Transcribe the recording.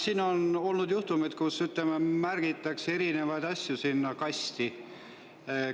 Siin on olnud juhtumeid, kus, ütleme, märgitakse erinevaid asju sinna kasti.